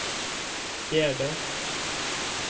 fjärde